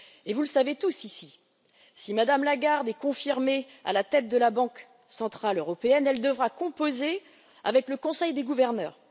Vous le savez tous ici, si Mme Lagarde est confirmée à la tête de la Banque centrale européenne, elle devra composer avec le Conseil des gouverneurs.